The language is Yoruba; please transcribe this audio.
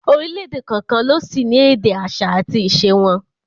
Orílẹ̀èdè kọ̀ọ̀kan ló sì ní èdè, àṣà àti ìṣe wọn